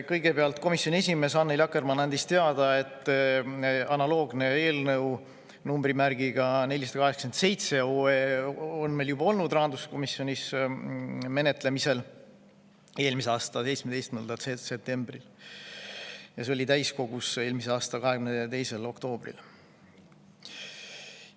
Kõigepealt andis komisjoni esimees Annely Akkermann teada, et analoogne eelnõu, numbriga 487, on juba olnud menetlemisel, nimelt rahanduskomisjonis oli see eelmise aasta 17. septembril ja täiskogus eelmise aasta 22. oktoobril.